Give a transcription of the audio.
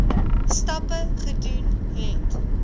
stappe gedoen het